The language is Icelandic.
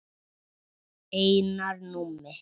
Einar Númi.